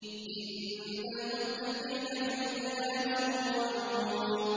إِنَّ الْمُتَّقِينَ فِي ظِلَالٍ وَعُيُونٍ